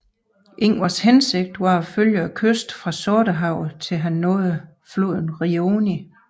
Ingvars hensigt var at følge kysten fra Sortehavet til han nåede floden Rioni